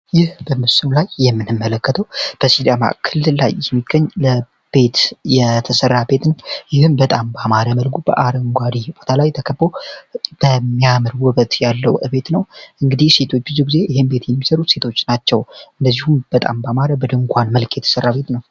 ይህ በምስኑ ላይ የምንመለከተው በስዳማ ክልል ላይ የሚገኝ ለቤት የተሠራ ቤት ነው። ይህም በጣም በማረ መልጉ በአረንጓሪ ቦታ ላይ ተከብ በሚያምርቡበት ያለው ቤት ነው እንግዲህ ሴቶችዙ ጊዜ ይህን ቤት የንምሰሩት ሴቶች ናቸው እንደዚሁም በጣም በማረ በድንኳን መልክ የተሠራ ቤት ነው።